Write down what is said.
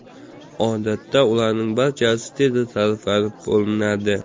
Odatda ularning barchasi tezda sarflab bo‘linadi.